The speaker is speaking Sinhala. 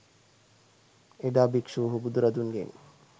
එදා භික්‍ෂූහු බුදුරදුන්ගෙන්